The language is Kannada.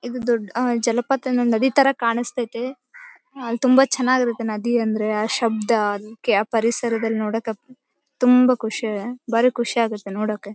ಇದು ದೊಡ್ಡ್ ಜಲಪಾತ ನದಿ ತರ ಕಾಣಿಸ್ತಾ ಐತೆ ಆಹ್ಹ್ ತುಂಬಾ ಚೆನ್ನಾಗಿರುತ್ತೆ ನದಿ ಅಂದ್ರೆ ಆಹ್ಹ್ ಶಬ್ದ ಪರಿಸರದಲ್ಲಿ ನೋಡೋಕೆ ತುಂಬಾ ಖುಷಿ ಭಾರಿ ಖುಷಿಯಾಗುತ್ತೆ ನೋಡೋಕೆ .